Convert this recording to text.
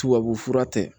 Tubabufura tɛ